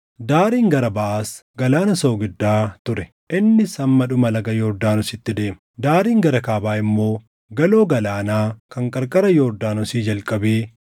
Daariin gara baʼaas Galaana Soogiddaa ture; innis hamma dhuma laga Yordaanositti deema. Daariin gara kaabaa immoo galoo galaanaa kan qarqara Yordaanosii jalqabee